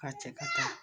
K'a cɛ ka taa